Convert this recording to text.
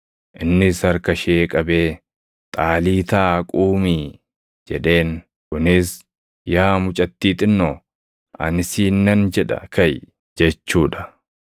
Innis harka ishee qabee, \+wj “Xaaliitaa quumii!”\+wj* jedheen; kunis, “Yaa mucattii xinnoo, ani siin nan jedha, kaʼi!” jechuu dha.